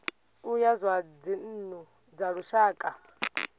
ya zwa dzinnu dza lushaka